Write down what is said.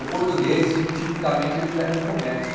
O português, ti tipicamente, ele já é do comércio.